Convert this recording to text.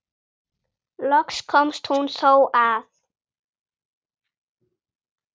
Loks komst hún þó að.